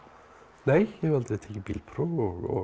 nei ég hef aldrei tekið bílpróf og